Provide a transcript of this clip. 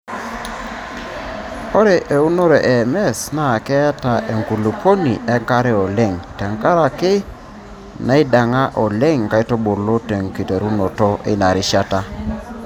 Ore eunore e MS naa keeta enkulupuoni enkare oleng tenkaraki naiding'a oleng nkaitubulu tenkiterunoto eina rishata.